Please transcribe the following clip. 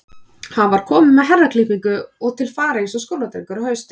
Hann var kominn með herraklippingu og til fara eins og skóladrengur á hausti.